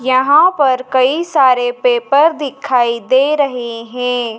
यहाँ पर कई सारे पेपर दिखाई दे रहे हैं।